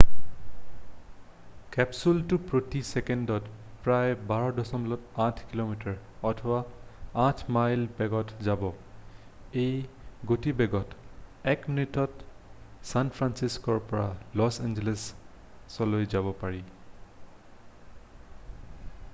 কেপচুলটো প্ৰতি চেকেণ্ডত প্ৰায় 12.8 কিমি অথবা 8 মাইল বেগত যাব এই গতিবেগত 1 মিনিতত ছান ফ্ৰান্সিস্ক'ৰ পৰা লছ এঞ্জেলছ পাব পাৰি